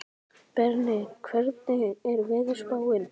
Berni, hvernig er veðurspáin?